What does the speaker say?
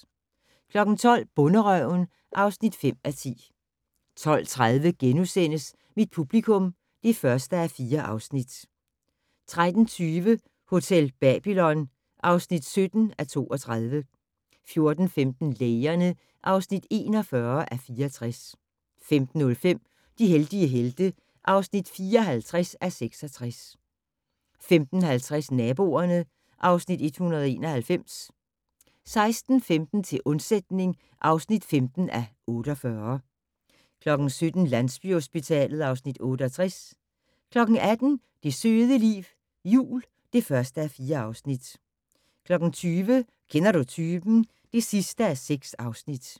12:00: Bonderøven (5:10) 12:30: Mit publikum (1:4)* 13:20: Hotel Babylon (17:32) 14:15: Lægerne (41:64) 15:05: De heldige helte (54:66) 15:50: Naboerne (Afs. 191) 16:15: Til undsætning (15:48) 17:00: Landsbyhospitalet (Afs. 68) 18:00: Det søde liv - jul (1:4) 20:00: Kender du typen? (6:6)